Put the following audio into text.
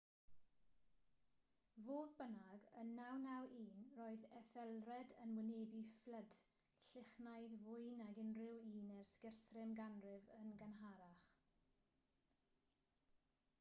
fodd bynnag yn 991 roedd ethelred yn wynebu fflyd lychlynnaidd fwy nag unrhyw un ers guthrum ganrif yn gynharach